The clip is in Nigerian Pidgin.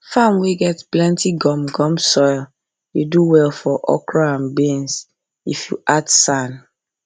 farm wey get plenty gum gum soil dey do well for okra and beans if you add sand